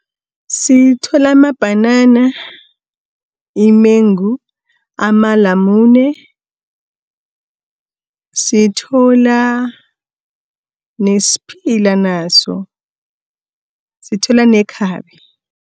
Sithola mabhanana, imengu, amalamune, sithola nesiphila naso, sithola nekhabe.